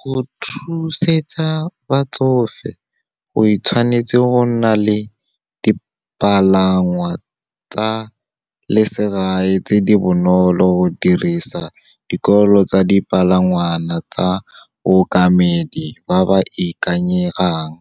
Go thuseletsa batsofe, we tshwanetse go nna le dipalangwa tsa lesegae tse di bonolo, go dirisa dikolo tsa dipalangwana tsa baokamedi ba ba ikanyegang.